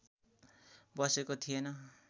बसेको थिएन